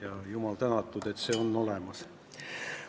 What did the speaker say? Ja jumal tänatud, et see on olemas.